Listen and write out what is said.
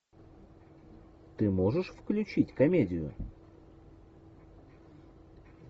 ты можешь включить комедию